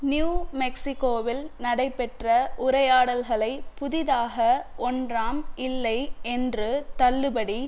new மெக்சிகோவில் நடைபெற்ற உரையாடல்களை புதிதாக ஒன்றாம் இல்லை என்று தள்ளுபடி